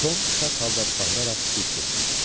Tom şad halda bağıraraq diz çökdü.